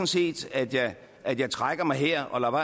set at jeg at jeg trækker mig her og